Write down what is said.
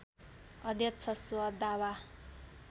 अध्यक्ष स्व दावा